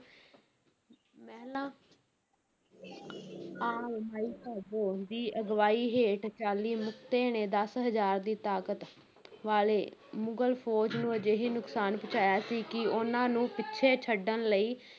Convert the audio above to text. ਮਹਿਲਾ ਆਮ ਮਾਈ ਭਾਗੋ ਦੀ ਅਗਵਾਈ ਹੇਠ ਚਾਲੀ ਮੁਕਤੇ ਨੇ ਦਸ ਹਜ਼ਾਰ ਦੀ ਤਾਕਤ ਵਾਲੇ ਮੁਗਲ ਫੌਜ ਨੂੰ ਅਜਿਹੀ ਨੁਕਸਾਨ ਪਹੁੰਚਾਇਆ ਸੀ ਕਿ ਉਨ੍ਹਾਂ ਨੂੰ ਪਿੱਛੇ ਛੱਡਣ ਲਈ